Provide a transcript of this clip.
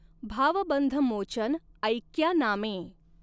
भावबंधमॊचन ऎक्या नामॆं.